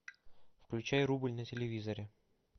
включай рубль на телевизоре